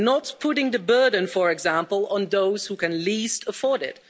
by not putting the burden, for example, on those who can least afford it.